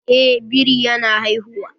Eh, biri ya na haihuwa